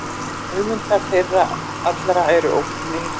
Höfundar þeirra allra eru ókunnir.